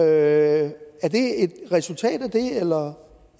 er det et resultat af det eller